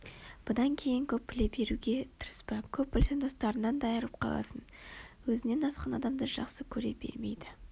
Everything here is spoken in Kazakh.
бұдан кейін көп біле беруге тырыспа көп білсең достарыңнан да айырылып қаласың Өзінен асқан адамды жақсы көре бермейді